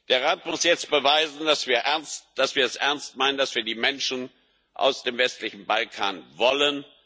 Der Rat muss jetzt beweisen, dass wir es ernst meinen, dass wir die Menschen aus dem westlichen Balkan wollen.